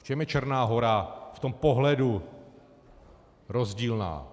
V čem je Černá Hora v tomto pohledu rozdílná?